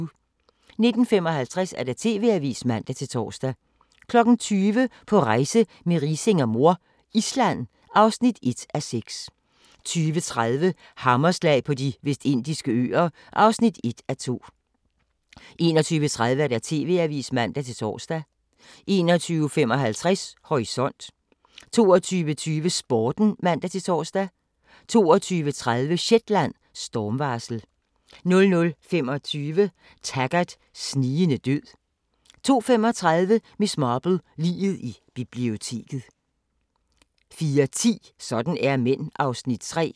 19:55: TV-avisen (man-tor) 20:00: På rejse med Riising og mor - Island (1:6) 20:30: Hammerslag på De Vestindiske Øer (1:2) 21:30: TV-avisen (man-tor) 21:55: Horisont 22:20: Sporten (man-tor) 22:30: Shetland: Stormvarsel 00:25: Taggart: Snigende død 02:35: Miss Marple: Liget i biblioteket 04:10: Sådan er mænd (Afs. 3)